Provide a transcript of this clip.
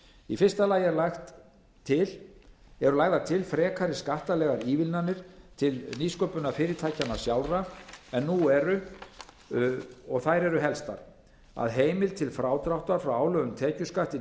í fyrsta lagi eru lagðar til frekari skattalegar ívilnanir til nýsköpunarfyrirtækja sjálfra en nú er þær eru helstar að heimild til frádráttar frá álögðum tekjuskatti